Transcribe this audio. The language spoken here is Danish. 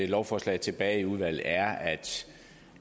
lovforslaget tilbage i udvalget er